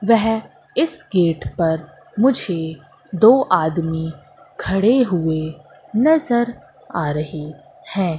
वेहे इस गेट पर मुझे दो आदमी खड़े हुए नजर आ रही हैं।